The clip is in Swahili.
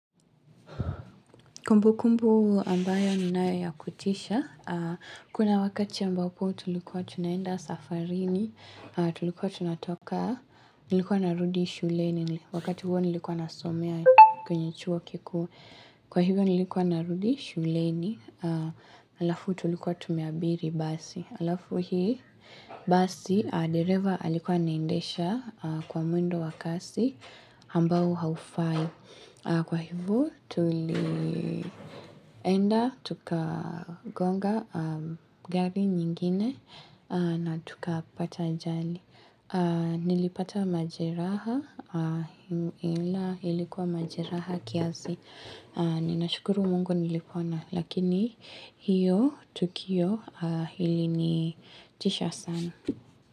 Kumbukumbu ambayo ninayo ya kutisha, kuna wakati ambapo tulikuwa tunaenda safarini, tulikuwa tunatoka, nilikuwa narudi shuleni, wakati huo nilikuwa nasomea kwenye chuo kikuu, kwa hivyo nilikuwa narudi shuleni, Halafu tulikuwa tumeabiri basi. Halafu hii, basi, dereva alikuwa anaendesha kwa mwendo wakasi ambao haufai. Kwa hivyo, tulienda, tuka gonga gari nyingine na tukapata ajali. Nilipata majeraha, ila ilikuwa majeraha kiasi. Ninashukuru Mungu nilipona Lakini hiyo tukio ilinitisha sana.